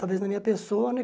Talvez na minha pessoa, né?